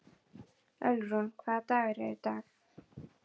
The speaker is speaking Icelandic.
Ölrún, hvaða dagur er í dag?